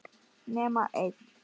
nema einn.